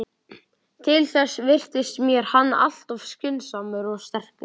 Til þess virtist mér hann alltof skynsamur og sterkur.